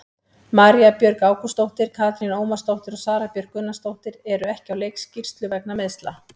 María Björg Ágústsdóttir, Katrín Ómarsdóttir og Sara Björk Gunnarsdóttir eru ekki á leikskýrslu vegna meiðsla.